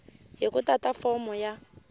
hi ku tata fomo ya